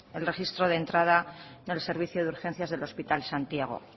el registro de entrada del servicio de urgencias del hospital santiago